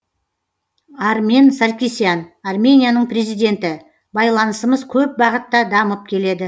армен саркисян арменияның президенті байланысымыз көп бағытта дамып келеді